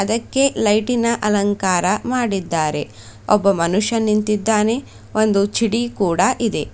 ಇದಕ್ಕೆ ಲೈಟಿನ ಅಲಂಕಾರ ಮಾಡಿದ್ದಾರೆ ಒಬ್ಬ ಮನುಷ್ಯ ನಿಂತಿದ್ದಾನೆ ಒಂದು ಚಿಡೀ ಕೂಡ ಇದೆ.